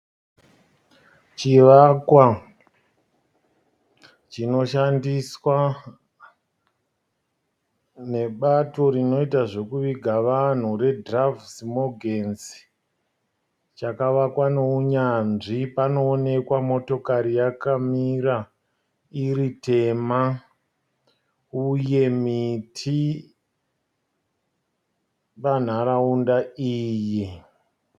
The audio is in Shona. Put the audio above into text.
Chivakwa chinoshandiswa nebato rinoita zvekuviga vanhu reDoves Morgens chakavakwa neunyanzvi panoonekwa motokari yakamira iri tema uye miti panharaunda iyi.